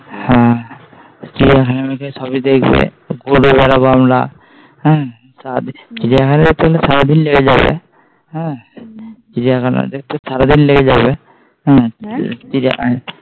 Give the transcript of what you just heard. চিড়িয়াখানা সবি দেখবে হ্যাঁ? চিড়িয়াখানা দেখতে হলে সারাদিন লেগে যাবে চিড়িয়াখানা দেখতে হলে সারাদিন লেগে যাবে চিড়িয়াখানা হু